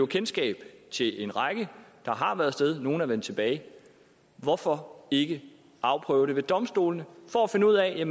kendskab til en række der har været af sted nogle er vendt tilbage hvorfor ikke afprøve det ved domstolene for at finde ud af